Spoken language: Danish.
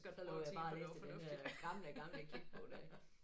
Så prøvede jeg bare at læse i den der gamle gamle kirkebog der ik